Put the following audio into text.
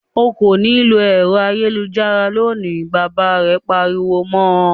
"O kò ní lo ẹ̀rọ ayélujára lónìí!" Bàbá rẹ̀ pariwo mọ.